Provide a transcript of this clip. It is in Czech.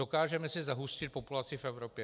Dokážeme si zahustit populaci v Evropě?